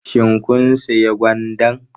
Shin kun sayi gwandan?